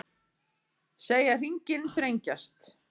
Segja hringinn þrengjast